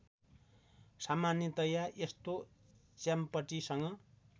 सामान्यतया यस्तो च्याम्पटीसँग